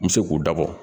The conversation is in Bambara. N bɛ se k'u dabɔ